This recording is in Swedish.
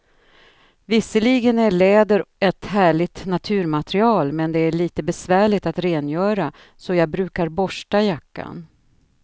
Visserligen är läder ett härligt naturmaterial, men det är lite besvärligt att rengöra, så jag brukar borsta jackan.